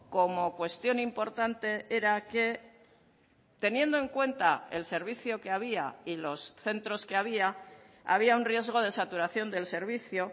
como cuestión importante era que teniendo en cuenta el servicio que había y los centros que había había un riesgo de saturación del servicio